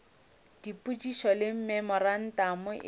dipotšišo le dimemorantamo e sa